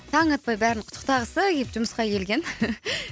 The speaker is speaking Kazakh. таң атпай бәрін құттықтағысы келіп жұмысқа келген